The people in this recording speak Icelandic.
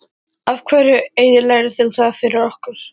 Af hverju eyðilagðir þú það fyrir okkur?